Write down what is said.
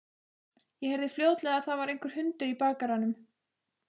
Ég heyrði fljótlega að það var einhver hundur í bakaranum.